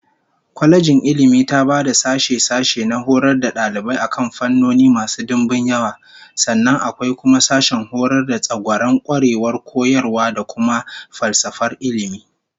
Kwalejin Ilmi taba da sashe-sashe na horar da dalibai akan fannoni masu dimbin yawa, sannan akwai kuma sashen horar da tsagwaron kwarewar koyarwa da kuma falsafar ilmi